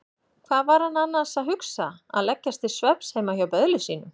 Hvað var hann annars að hugsa að leggjast til svefns heima hjá böðli sínum?